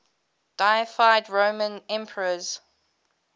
deified roman emperors